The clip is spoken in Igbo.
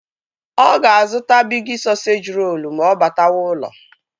Ọ ga-azụta Bigi sọseji rolu ma ọ batawa ụlọ